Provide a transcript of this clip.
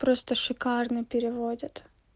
просто шикарно переводят